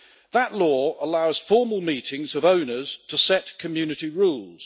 That law allows formal meetings of owners to set community rules.